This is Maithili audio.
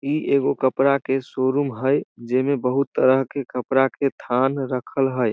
इ एगो कपड़ा के शो-रूम हेय जेमे बहुत तरह के कपड़ा के थान रखल हेय ।